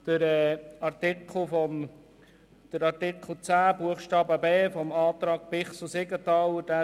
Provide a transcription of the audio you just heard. Den Antrag Siegenthaler/Bichsel zu Artikel 10 Absatz 2